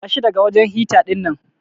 Tashi daga wajen hita dinnan.